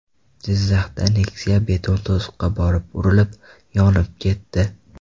Jizzaxda Nexia beton to‘siqqa borib urilib, yonib ketdi.